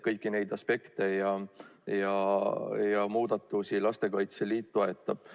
Kõiki neid aspekte ja muudatusi Lastekaitse Liit toetab.